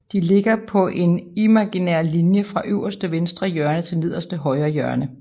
De ligger på en imaginær linje fra øverste venstre hjørne til nederste højre hjørne